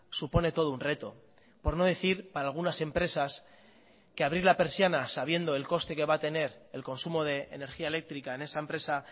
supone todo un reto por no decir para algunas empresas que abrir la persiana sabiendo el coste que va a tener el consumo de energía eléctrica en esa empresa